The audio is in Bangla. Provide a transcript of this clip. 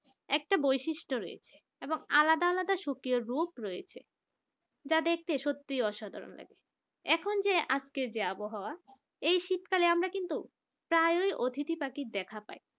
একটা বৈশিষ্ট্য রয়েছে এবং আলাদা আলাদা সক্রিয় রূপ রয়েছে যা দেখতে সত্যিই অসাধারণ লাগে এখন যে আজকের যে আবহাওয়া এই শীতকালে আমরা কিন্তু প্রায় ওই অতিথি পাখি দেখা পাই